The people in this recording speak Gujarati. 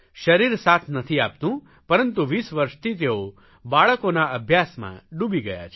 શરીર સાથ નથી આપતું પરંતુ વીસ વર્ષથી તેઓ બાળકોના અભ્યાસમાં ડૂબી ગયા છે